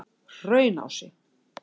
Hraunási